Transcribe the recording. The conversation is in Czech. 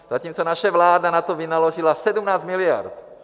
Zatímco naše vláda na to vynaložila 17 miliard.